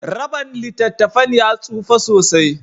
raban littattafan ya tsufa sosai.